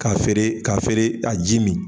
K'a feere k'a feere a ji min